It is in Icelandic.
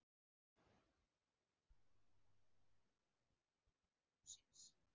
Þorbjörn: Kom Finnbogi ekki að ráðningu mágs síns?